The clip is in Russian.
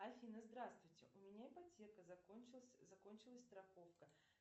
афина здравствуйте у меня ипотека закончилась страховка